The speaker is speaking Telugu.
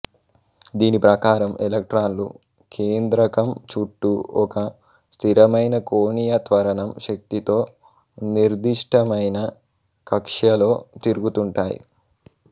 దీని ప్రకారం ఎలక్ట్రాన్లు కేంద్రకం చుట్టూ ఒక స్థిరమైన కోణీయ త్వరణం శక్తితో నిర్దిష్టమైన కక్ష్యలో తిరుగుతుంటాయి